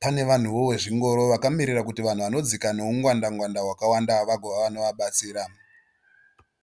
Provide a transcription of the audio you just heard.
Pane vanhuwo vezvingoro vakamirira kuti vanhu vanodzika neungwanda ngwanda hwakawanda vagovawo vanovabatsira .